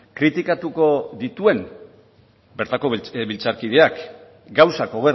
kritikatuko dituen bertako legebiltzarkideak gauzak